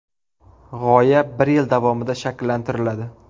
G‘oya bir yil davomida shakllantiriladi.